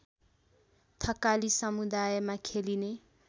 थकाली समुदायमा खेलिने